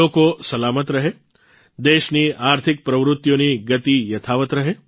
લોકો સલામત રહે દેશની આર્થિક પ્રવૃતિઓની ગતિ યથાવત રહે